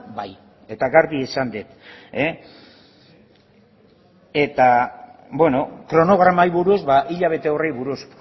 bai eta garbi esan dut kronogramari buruz hilabete horri buruz